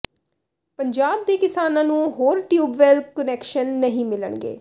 ਪੰਜਾਬ ਦੇ ਕਿਸਾਨਾਂ ਨੂੰ ਹੋਰ ਟਿਊਬਵੈਲ ਕੁਨੈਕਸ਼ਨ ਨਹੀਂ ਮਿਲਣਗੇ